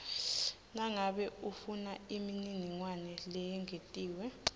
nangabe ufunaimininingwane leyengetiwe